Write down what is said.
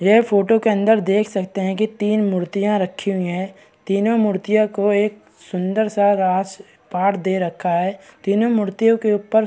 ये फोटो के अंदर देख सकते हैं तीन मूर्तियाँ रखी हुई हैं तीनों मूर्तियों को एक सुंदर सा राज पाठ दे रखा है तीनों मूर्तियों के ऊपर --